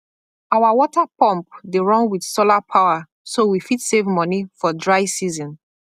our water pump dey run with solar power so we fit save money for dry season